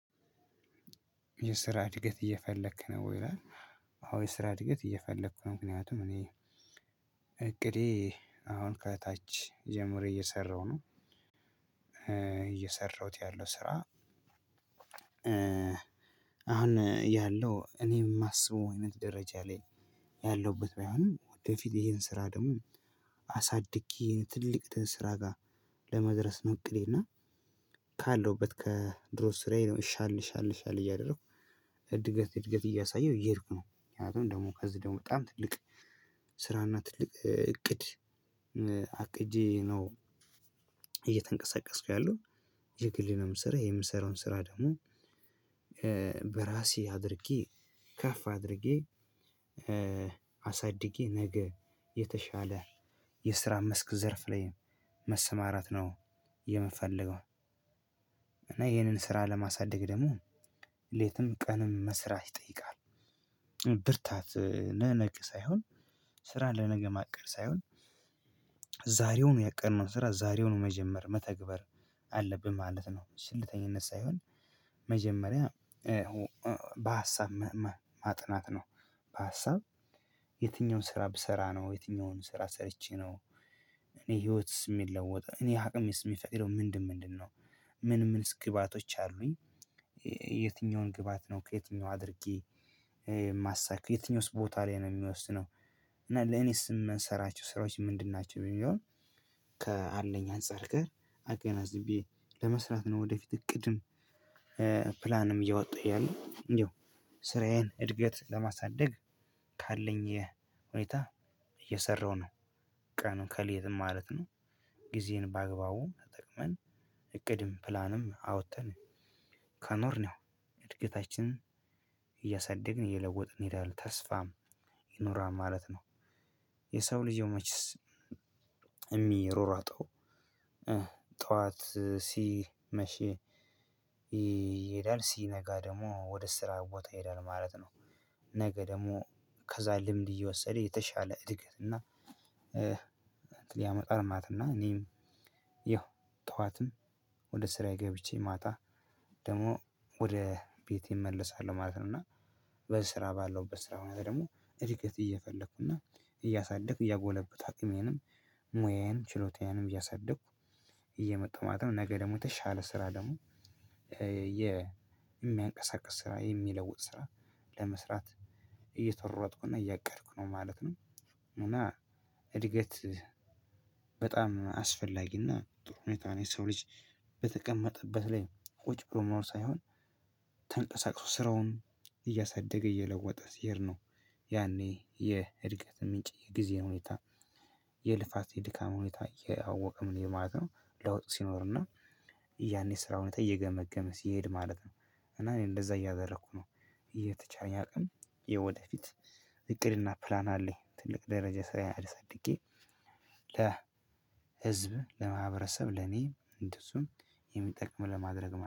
የስራ እድገት እየፈለክ ነው ይላል አዎ የስራ እድገት እየፈለኩ ነው ምክንያቱም እኔ እቅዴ አሁን ከታች ጀምሮ እየሰራሁ ነው እየሰራሁት ያለው ስራ አሁን ያለው እኔ የማስበው አይነት ደረጃ ላይ ያለሁበት ባይሆንም ወደፊት ይሄን ስራ ደግሞ አሳድጌ ትልቅ ስራ ጋር ለመድረስ ነው እቅዴ እና ካለሁበት ከድሮ ስራዬ ነው ሻል ሻል ሻል እያደረኩ እድገት እድገት እያሳየሁ እየሄድኩ ነው ምክንያቱም ደግሞ ከዚህ ደግሞ በጣም ትልቅ ስራና ትልቅ እቅድ አቅጄ ነው እየተንቀሳቀስኩ ያለው የግሌ ነው የምሰራው። የምሰራውን ስራ ደግሞ በራሴ አድርጌ ከፍ አድርጌ አሳድጌ ነገ የተሻለ የስራ መስክ ዘርፍ ላይ መሰማራት ነው የምፈልገው። እና ይህንን ስራ ለማሳደግ ደግሞ ሌትም ቀንም መስራት ይጠይቃል። ብርታት ለነገ ሳይሆን ስራ ለነገ ማቀድ ሳይሆን ዛሬውኑ ያቀድነውን ስራ ዛሬውኑ መጀመር መተግበር አለብን ማለት ነው። ቸልተኝነት ሳይሆን መጀመሪያ በሀሳብ መመ ማጥናት ነው። በሀሳብ የትኛውን ስራ ብሰራ ነው የትኛውን ስራ ሰርቼ ነው እኔ ህይወትስ የሚለወጥ እኔ አቅምስ የሚፈቅደው ምንድን ምንድነው። ምን ምንስ ግብአቶች አሉኝ። የትኛውን ግብአት ነው ከየትኛው አድርጌ ማሳካው። የትኛውስ ቦታ ላይ ነው የሚወስነው። እና ለእኔስ የምንሰራቸው ስራዎች ምንድን ናቸው የሚለውን ከአንደኛ አንፃር ጋር አገናዝቤ ለመስራት ነው ወደፊት እቅድም ፕላንም እያወጣሁ ያለው። ያው ስራዬን እድገት ለማሳደግ ካለኝ የ ሁኔታ እየሰራሁ ነው ቀንም ከሌትም ማለት ነው። ግዜንም በአግባቡ ተጠቅመን እቅድም ፕላንም አውጥተን ከኖርን ያው እድገታችንን እያሳደግን እየለወጥን እንሄዳለን። ተስፋም ይኖራል ማለት ነው። የሰው ልጅ ያው መቼስ የሚሯሯጠው ጠዋት ሲመሽ ይሄዳል ሲነጋ ደግሞ ወደ ስራ ቦታ ይሄዳል ማለት ነው። ነገ ደግሞ ከዛ ልምድ እየወሰደ የተሻለ እድገት እና ያመጣል ማለትና እኔም ያው ጠዋትም ወደ ስራዬ ገብቼ ማታ ደግሞ ወደ ቤቴ እመለሳለሁ ማለት ነው። እና በስራ ባለው በስራ ሁኔታ ደግሞ እድገት እየፈለኩ እና እያሳደግኩ እያጎለበትኩ አቅሜንም ሙያዬን ችሎታዬንም እያሳደግኩ እየመጣው ማለት ነው ነገ ደግሞ የተሻለ ስራ ደግሞ የሚያንቀሳቅስ ስራ የሚለውጥ ስራ ለመስራት እየተሯሯጥኩና እያቀድኩ ነው ማለት ነው። እና እድገት በጣም አስፈላጊና ጥሩ ሁኔታ ነው። የሰው ልጅ በተቀመጠበት ላይ ቁጭ ብሎ መሆን ሳይሆን ተንቀሳቅሶ ስራውን እያሳደገ እየለወጠ ሲሄድ ነው ያኔ የእድገት ምንጭ የጊዜ ሁኔታ የልፋት የድካም ሁኔታ እያወቀ ምንሄድ ማለት ነው ለውጥ ሲኖርና ያን የስራ ሁኔታ እየገመገመ ሲሄድ ማለት ነው። እና እኔ እንደዛ እያደረኩ ነው እየተቻለኝ አቅም የወደፊት እቅድና ፕላን አለኝ። ትልቅ ደረጃ ስራየን አሳድጌ ለ ህዝብም ለማህበረሰብ ለኔም እንደዚሁም የሚጠቅም ለማድረግ